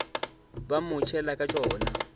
ba mo tšhela ka tšona